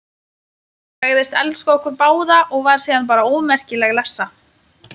Sagðist elska okkur báða og var síðan bara ómerkileg lessa.